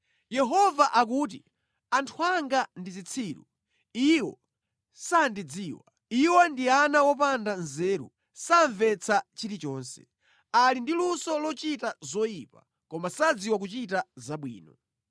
Yehova akuti, “Anthu anga ndi zitsiru; iwo sandidziwa. Iwo ndi ana opanda nzeru; samvetsa chilichonse. Ali ndi luso lochita zoyipa, koma sadziwa kuchita zabwino.”